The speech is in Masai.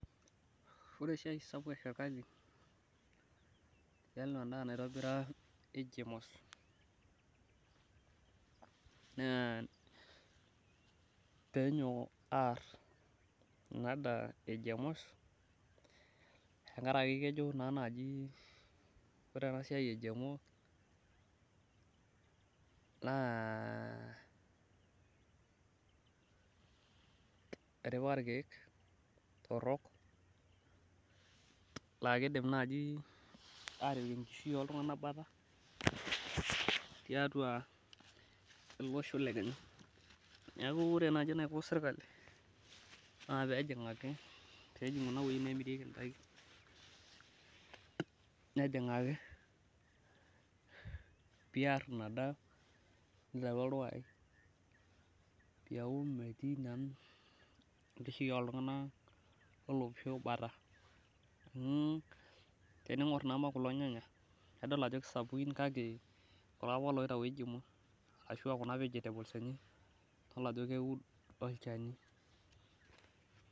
ore esiai sapuk erikali naa tiatua edaa naitobira GMO's naa pee enyok aar ena daa e gmo's tenkaraki keji naa naaji ore ensiai ore paa ilkeek torok naa kidim naaji atipik enkishui oltunganak batisho, neeku keyieu naaji serikali nepuo ajingaki pee eer ina daa pee eku metii naa enkishu oltunganak leloosho bata, tiningor naa kulo nyanya idol ajo kisapuki keud olchani kuna vegetables